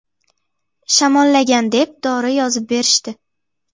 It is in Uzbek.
Shamollagan deb, dori yozib berishdi.